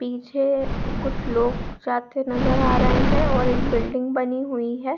पीछे कुछ लोग साथ जाते नजर आ रहे है और एक बिल्डिंग बनी हुई है।